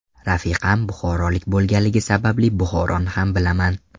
Rafiqam buxorolik bo‘lganligi sababli Buxoroni ham bilaman.